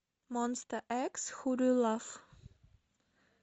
монста экс ху ду ю лав